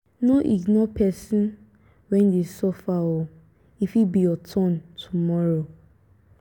no ignore pesin wey dey suffer o e fit be your turn tomorrow.